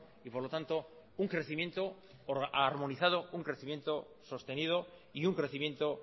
y por lo tanto un crecimiento armonizado un crecimiento sostenido y un crecimiento